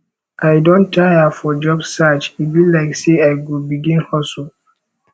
i don tire for job search e be like sey i go begin hustle